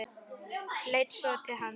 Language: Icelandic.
Leit svo til hans.